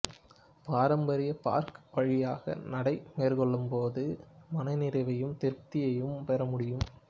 பாரம்பரிய பார்க் வழியாக நடை மேற்கொள்ளும்போது மனநிறைவையும் திருப்தியையும் பெறமுடியும்